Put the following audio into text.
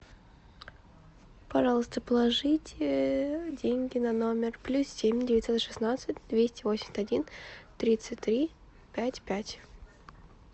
пожалуйста положите деньги на номер плюс семь девятьсот шестнадцать двести восемьдесят один тридцать три пять пять